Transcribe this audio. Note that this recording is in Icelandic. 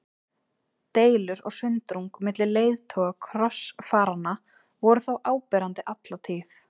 Deilur og sundrung milli leiðtoga krossfaranna voru þó áberandi alla tíð.